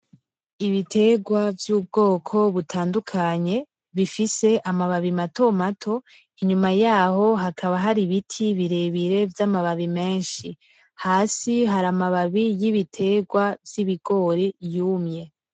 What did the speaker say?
Ibitegwa vyubwoko butandukanye bifise amababi matomato inyuma yaho hakaba hari ibiti birebire vyamababi menshi hasi hari amababi yibitegwa vyibigori yumye.